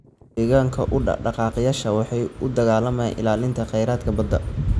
Deegaanka u dhaqdhaqaaqayaasha waxay u dagaalamayaan ilaalinta khayraadka badda.